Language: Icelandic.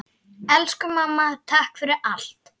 Elsku mamma, takk fyrir allt.